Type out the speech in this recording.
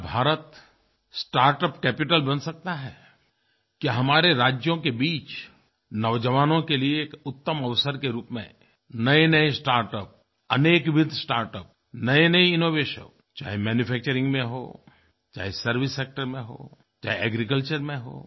क्या Bharat startup capital बन सकता है क्या हमारे राज्यों के बीच नौजवानों के लिए एक उत्तम अवसर के रूप में नयेनये स्टार्टअप्स अनेक विथ स्टार्टअप्स नयेनये इनोवेशंस चाहे मैन्यूफैक्चरिंग में हो चाहे सर्वाइस सेक्टर में हो चाहे एग्रीकल्चर में हो